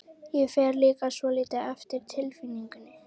Ég fer líka svolítið eftir tilfinningunni.